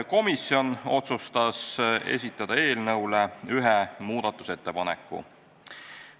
Komisjon otsustas esitada ühe muudatusettepaneku.